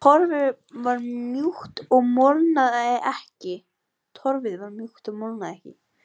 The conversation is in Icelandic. Torfið var mjúkt og molnaði ekki.